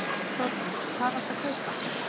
Þórdís: Hvað varstu að kaupa?